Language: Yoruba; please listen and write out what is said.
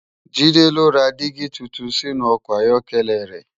Jide n lò rá digi tútún sinú òkò áyòkèlè rè